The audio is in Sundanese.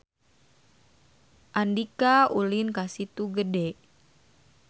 Andika ulin ka Situ Gede